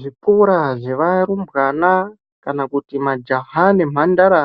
Zvikora zvevarumbwana ,kana kuti majaha nemhandara